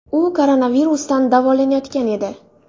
U koronavirusdan davolanayotgan edi.